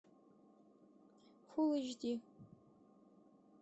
фул эйч ди